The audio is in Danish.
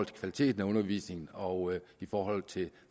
kvaliteten af undervisningen og